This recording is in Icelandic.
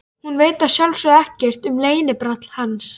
Hún veit að sjálfsögðu ekkert um leynibrall hans.